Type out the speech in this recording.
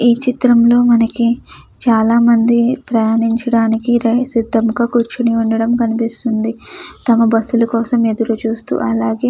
ఈ చిత్రంలో మనకి చాలామంది ప్రయాణించడానికి సిద్ధంగా కూర్చుని ఉండటం కనిపిస్తుంది. తమ బస్సు ల కోసం ఎదురుచూస్తు అలాగే --